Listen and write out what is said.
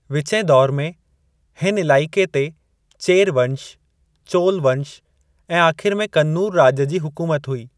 विचें दौर में, हिन इलाइक़े ते चेर वंश, चोल वंश ऐं आख़िर में कन्नूर राॼ जी हुकूमत हुई।